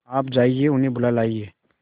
आप जाइए उन्हें बुला लाइए